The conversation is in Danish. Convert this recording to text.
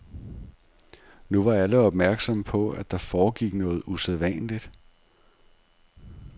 Nu var alle opmærksomme på, at der foregik noget usædvanligt.